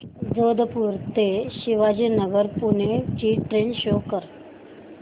जोधपुर ते शिवाजीनगर पुणे ची train show कर